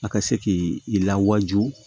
A ka se k'i i lawajugu